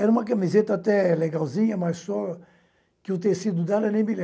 Era uma camiseta até legalzinha, mas só que o tecido dela nem me